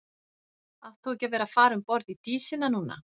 Átt þú ekki að vera að fara um borð í Dísina núna?